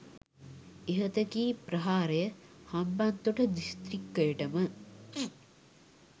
ඉහත කී ප්‍රහාරය හම්බන්තොට දිස්ත්‍රික්කයට ම